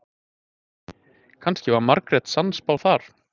kannski var margrét sannspá þar